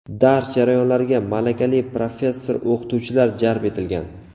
Dars jarayonlariga malakali professor-o‘qituvchilar jalb etilgan.